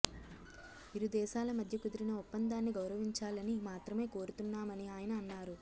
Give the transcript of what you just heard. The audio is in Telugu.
ఇరుదేశాల మధ్య కుదిరిన ఒప్పందాన్ని గౌరవించాలని మాత్రమే కోరుతున్నామని ఆయన అన్నారు